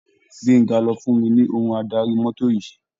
Gbenga ló fún mi ní ohun adarí mọ́tò yìí.